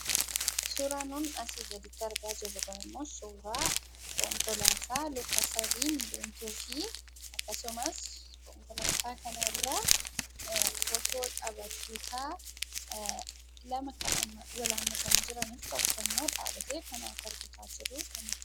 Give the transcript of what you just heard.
Suuraan nuun asii gaditti argaa jirru kunimmoo suuraa konkolaataa luka sadiin deemtuufi akkasumas konkolaataa kanarraa footoo taphattoota lama kan wal haammatanii jiraniif tokkommoo dhaabbatee kan harka rukuchaa jiru kan nutti mul'atu.